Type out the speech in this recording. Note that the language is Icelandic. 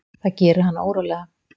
Það gerir hana órólega.